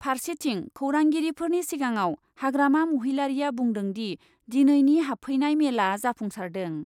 फारसेथिं खौरांगिरिफोरनि सिगाङाव हाग्रामा महिलारीआ बुंदों दि, दिनैनि हाबफैनाय मेलआ जाफुंसारदों।